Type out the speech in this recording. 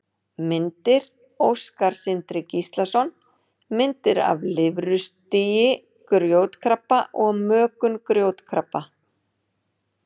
Myndir: Óskar Sindri Gíslason: Myndir af lirfustigi grjótkrabba og mökun grjótkrabba.